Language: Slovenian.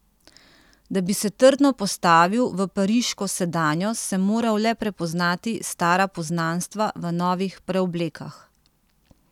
Da bi se trdno postavil v pariško sedanjost, sem moral le prepoznati stara poznanstva v novih preoblekah.